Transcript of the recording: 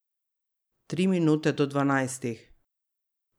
Tri minute do dvanajstih.